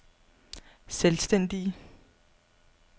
selvstændige